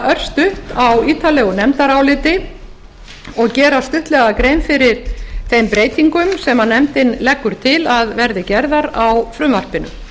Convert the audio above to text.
örstutt á ítarlegu nefndaráliti og gera stuttlega grein fyrir þeim breytingum sem nefndin leggur til að verði gerðar á frumvarpinu